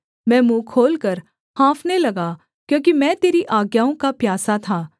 मैं मुँह खोलकर हाँफने लगा क्योंकि मैं तेरी आज्ञाओं का प्यासा था